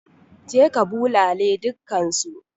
Je ka bulale dukkansu!